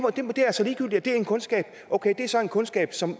det er det er en kundskab okay det er så en kundskab som